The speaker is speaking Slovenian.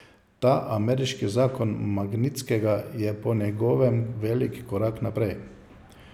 Ta ameriški zakon Magnitskega je po njegovem velik korak naprej.